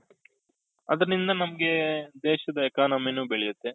ಅದ್ರಿಂದ ನಮ್ಗೆ ದೇಶದ economy ನು ಬೆಳಿಯುತ್ತೇ